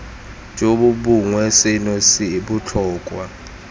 jo bongwe seno se botlhokwa